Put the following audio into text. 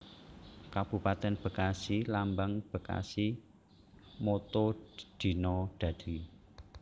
Kabupatèn BekasiLambang BekasiMotto Dina Dadi